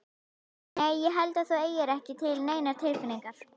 Nei. ég held að þú eigir ekki til neinar tilfinningar.